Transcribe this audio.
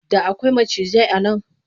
Da akwai macijai a nan.